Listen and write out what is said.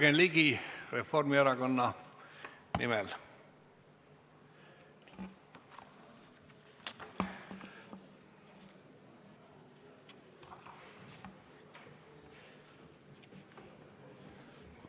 Jürgen Ligi Reformierakonna nimel, palun!